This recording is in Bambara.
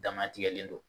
Dama tigɛlen don